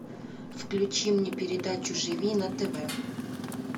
включи мне передачу живи на тв